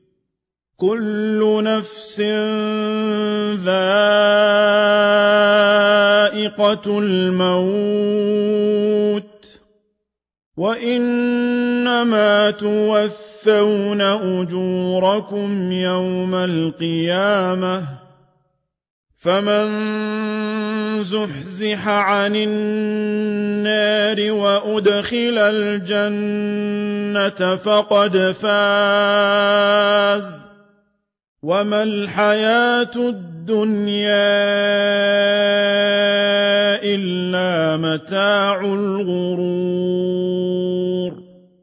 كُلُّ نَفْسٍ ذَائِقَةُ الْمَوْتِ ۗ وَإِنَّمَا تُوَفَّوْنَ أُجُورَكُمْ يَوْمَ الْقِيَامَةِ ۖ فَمَن زُحْزِحَ عَنِ النَّارِ وَأُدْخِلَ الْجَنَّةَ فَقَدْ فَازَ ۗ وَمَا الْحَيَاةُ الدُّنْيَا إِلَّا مَتَاعُ الْغُرُورِ